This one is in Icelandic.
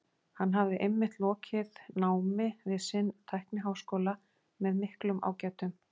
Hann hafði einmitt lokið námi við sinn tækniháskóla með miklum ágætum.